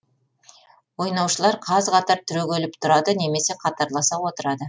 ойнаушылар қаз қатар түрегеліп тұрады немесе қатарласа отырады